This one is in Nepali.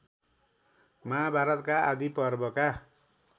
महाभारतका आदि पर्वका